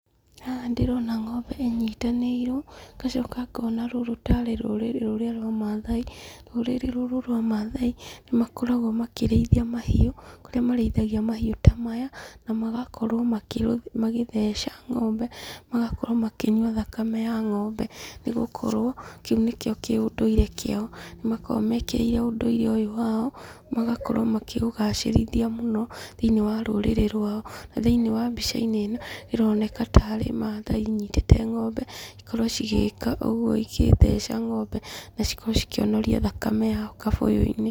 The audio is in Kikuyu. Haha ndĩrona ng'ombe ĩnyitanĩirwo, ngacoka ngona rũrũ tarĩ rũrĩrĩ rũrĩa rwa maathai. Rũrĩrĩ rũrũ rwa maathai, nĩ makoragwo makĩrĩithia mahiũ, kũrĩa marĩĩthagia mahiũ ta maya, na magakorwo magĩtheca ng'ombe, magakorwo makinyia thakame ya ng'ombe, nĩ gukorwo, kĩũ nĩkĩo kĩ ũndũire kĩao. Nĩ makoragwo mekĩrĩire ũndũire ũyũ wao, magakorwo makĩũgacĩrithia mũno thĩiniĩ wa tũrĩ rwao. Thĩiniĩ wa mbica-inĩ ĩno, ĩroneka tarĩ maathai inyitĩte ng'ombe okorwo igĩika ũguo igĩtheca ng'ombe, na cikorwo cikĩonoria thakame yao kabũyũ-inĩ.